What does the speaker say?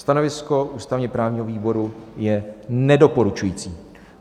Stanovisko ústavně-právního výboru je nedoporučující.